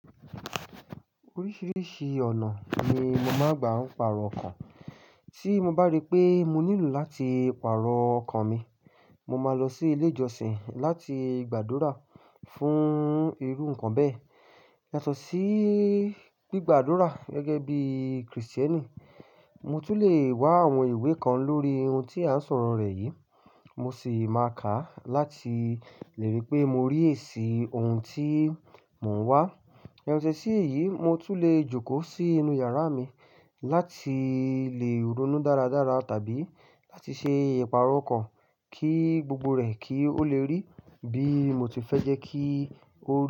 Oríṣìíríṣìí ọ̀nà ni mo màá n gbà ń pàrọ̀ ọkàn. Tí mo bá rí pé mo nílò láti pàrọ̀ ọkàn mi, mo máa lọ sí ilé ìjọsìn láti gbàdúrà fún irú nǹkan bẹ́ẹ̀. Yàtọ̀ sí gbígbàdúrà gẹ́gẹ́ bí Kristẹni, mo tún le wá àwọn ìwé kan lórí ohun tí à ń sọ̀rọ̀ rẹ̀ yìí, mo sì máa kà á láti lè rí pé mo rí èsì ohun tí mò ń wá. Yàtọ̀ sí èyí, mo tún le jókòó sí inú yàrá mi láti lè ronú dáradára tàbí láti ṣe ìpàrọ̀ ọkàn kí gbogbo rẹ̀ kí ó le rí bí mo ti fẹ́ jẹ́ kí ó rí.